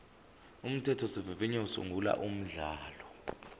umthethosivivinyo usungula umkhandlu